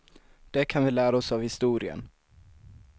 Det kan vi lära oss av historien.